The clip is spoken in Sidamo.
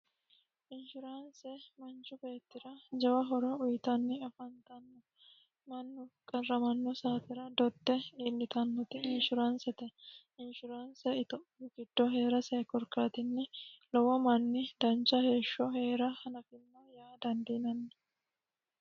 inshuraanse manchu beettira jawa horo uyitanni afantanno mannu qarramanno saatira dodde iillitannoti inshuraansete inshuraanse ithophiyu giddoo heerase korkaatinni lowo manni dancha heeshsho heera hanafanno yaa dandiinanni